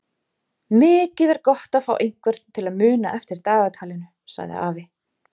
Mikið er gott að fá einhvern til að muna eftir dagatalinu sagði afi.